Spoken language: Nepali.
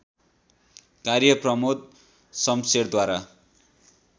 कार्य प्रमोद शमशेरद्वारा